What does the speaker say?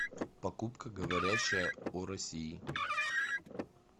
покупка говорящая о россии